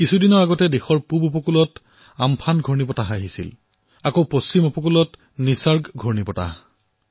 কিছু দিন পূৰ্বে দেশৰ পূব অংশত আম্ফন ঘূৰ্ণীবতাহ অহাৰ লগতে পশ্চিম তটলৈ নিসৰ্গ ঘূৰ্ণীবতাহ আহিছিল